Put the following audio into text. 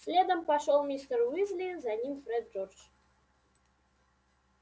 следом пошёл мистер уизли за ним фред джордж